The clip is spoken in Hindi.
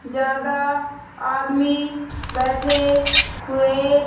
ज्यादा आदमी बैठे हुए --